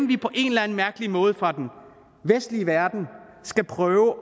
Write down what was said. vi på en eller anden mærkelig måde fra den vestlige verden skal prøve